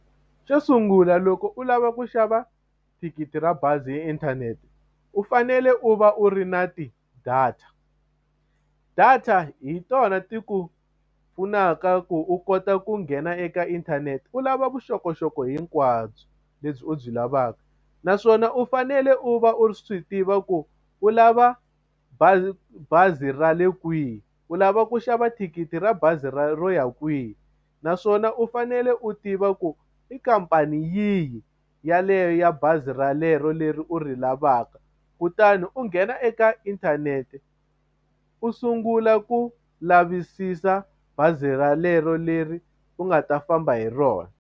Xo sungula loko u lava ku xava thikithi ra bazi hi inthanete u fanele u va u ri na ti-data data hi tona ti ku pfunaka ku u kota ku nghena eka inthanete u lava vuxokoxoko hinkwabyo lebyi u byi lavaka naswona u fanele u va u swi tiva ku u lava bazi ra le kwihi u lava ku xava thikithi ra bazi ra ro ya kwihi naswona u fanele u tiva ku i khampani yihi yaleyo ya bazi relero leri u ri lavaka kutani u nghena eka inthanete u sungula ku lavisisa bazi ralero leri u nga ta famba hi rona.